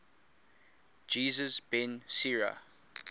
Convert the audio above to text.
jesus ben sira